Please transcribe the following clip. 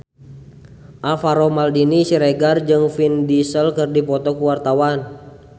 Alvaro Maldini Siregar jeung Vin Diesel keur dipoto ku wartawan